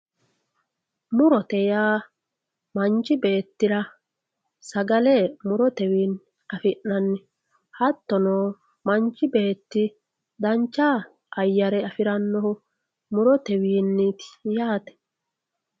murote yaa manchi beettira sagale murotenni afi'nanni hattono manchi beeti dancha ayaare afirannoho murotewiini yaate.